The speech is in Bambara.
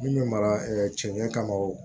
Min bɛ mara cɛ ɲɛ kama wo